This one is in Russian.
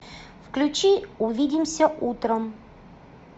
включи увидимся утром